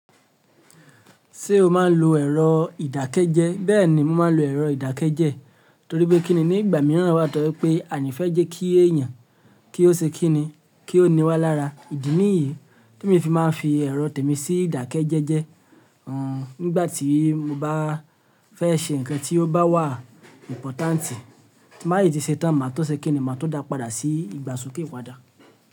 Ṣé o máa ń lo ẹ̀rọ ìdákẹ́jẹ́? Bẹ́ẹ̀ni, mo máa ń lo ẹ̀rọ ìdákẹ́jẹ́ torí pé kíni ní ìgbà mìíràn wà tó pé àa ni fẹ́ jẹ́ kí èèyàn kí ó ṣe kíni, kí ó níwá lára. Ìdí nìyí ti emi fi máa ń fi ẹ̀rọ tèmi sí ìdákẹ́jẹ́jẹ́. Nígbà tí mo bá fẹ́ ṣe nǹkan tí ó bá wà ìpọ́tántì, tí n ba tí ṣe tán, màá tọ́ ṣe kí ni màá tun dá padà sí ìgbà sokẹ́ ìpadà.